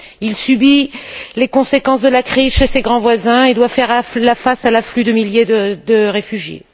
Il subit les conséquences de la crise chez ses grands voisins et doit faire face à l'afflux de milliers de réfugiés.